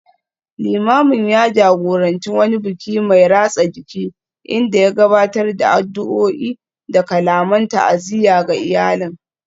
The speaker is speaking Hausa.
Limamin ya jagoranci wani biki mai ratsa jiki, inda ya gabatar da addu’o’i da kalaman ta’aziyya ga iyalin